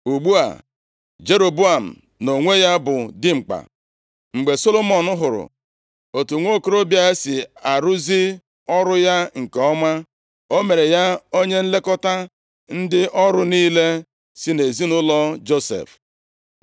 Ugbu a Jeroboam, nʼonwe ya, bụ dimkpa. Mgbe Solomọn hụrụ otu nwokorobịa a si arụzi ọrụ ya nke ọma, o mere ya onye nlekọta ndị ọrụ niile si nʼezinaụlọ Josef.